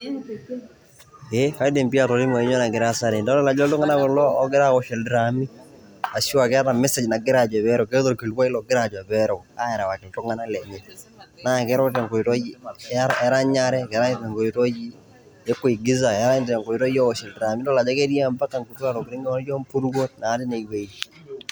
Ee kaidim pi atolimu ajo kanyioo nagira aasa tene. Kadolta ajo iltung'anak kulo ogira awosh ildraami, ashu akeeta mesej nagira najo pero. Keeta olkilikwai logira ajo pereu. Arewaki iltung'anak lenye. Na kereu tenkoitoi eranyare. Erany tenkoitoi e kuigiza, erany tenkoitoi ewosh ildraami. Nidol ajo ketii mpaka nkutia tokiting naijo mpuruo natii inewei.